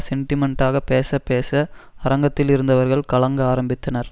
செண்டிமெண்டாக பேச பேச அரங்கத்தில் இருந்தவர்கள் கலங்க ஆரம்பித்தனர்